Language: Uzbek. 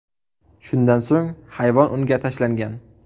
Shundan so‘ng hayvon unga tashlangan.